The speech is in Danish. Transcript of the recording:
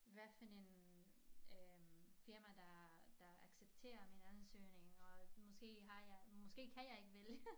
Hvad for en øh firma der der accepterer min ansøgning og måske har jeg måske kan jeg ikke vælge